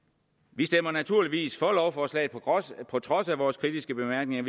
vi stemmer naturligvis for lovforslaget på trods af vores kritiske bemærkninger